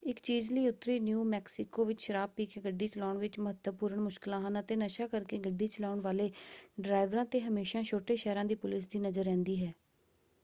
ਇਕ ਚੀਜ਼ ਲਈ ਉੱਤਰੀ ਨਿਊ ਮੈਕਸੀਕੋ ਵਿੱਚ ਸ਼ਰਾਬ ਪੀ ਕੇ ਗੱਡੀ ਚਲਾਉਣ ਵਿੱਚ ਮਹੱਤਵਪੂਰਣ ਮੁਸ਼ਕਲਾਂ ਹਨ ਅਤੇ ਨਸ਼ਾ ਕਰਕੇ ਗੱਡੀ ਚਲਾਉਣ ਵਾਲੇ ਡਰਾਈਵਰਾਂ 'ਤੇ ਹਮੇਸ਼ਾਂ ਛੋਟੇ-ਸ਼ਹਿਰਾਂ ਦੀ ਪੁਲਿਸ ਦੀ ਨਜ਼ਰ ਰਹਿੰਦੀ ਹੈ।